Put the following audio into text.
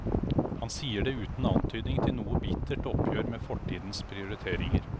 Han sier det uten antydning til noe bittert oppgjør med fortidens prioriteringer.